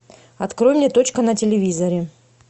открой мне точка на телевизоре